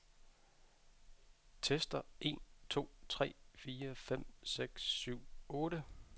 Tester en to tre fire fem seks syv otte.